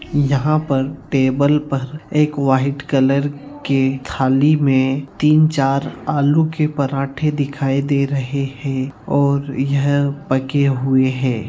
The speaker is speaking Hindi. यहाँ पर टेबल पर एक व्हाइट कलर के थाली में तीन-चार आलू के पराठे दिखाई दे रहे हैं और यह पके हुए हैं।